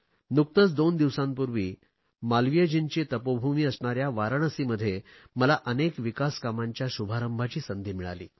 नुकतेच दोन दिवसांपूर्वी मालवीयजींची तपोभूमी असणाऱ्या वाराणसीमध्ये मला अनेक विकास कामांच्या शुभारंभाची संधी लाभली